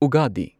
ꯎꯒꯥꯗꯤ